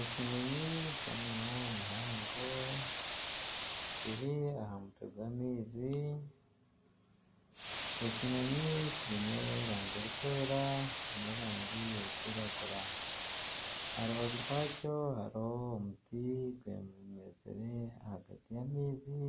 Ekinyonyi ky'omunwa muhango kiri aha mutwe gw'amaizi, ekinyonyi kiine erangi erikwera n'erangi erikwiragura aha rubaju rwakyo hariho omuti gumizire aha rubaju rw'amaizi